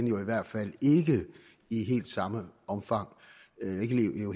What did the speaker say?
i hvert fald ikke i helt samme omfang